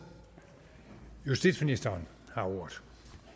justitsministeren har ordet